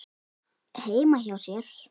heima hjá sér.